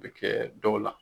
o bɛ kɛ dɔw la